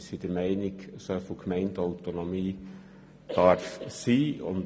Wir sind der Meinung, soviel Gemeindeautonomie dürfe sein.